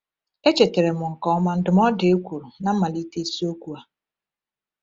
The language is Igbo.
E chetara m nke ọma ndụmọdụ e kwuru na mmalite isiokwu a.